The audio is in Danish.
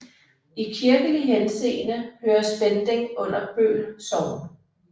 I kirkelig henseende hører Spending under Bøl Sogn